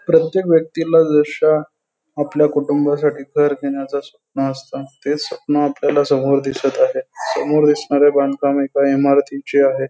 प्रत्येक व्यक्तीला जशा आपल्या कुटुंबासाठी घर घेण्याचं स्वप्न असत ते स्वप्न आपल्यला समोर दिसत आहे समोर दिसणारे बांधकाम एका इमारतीचे आहे.